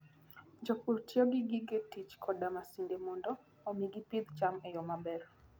Jopur tiyo gi gige tich koda masinde mondo omi gipidh cham e yo maber.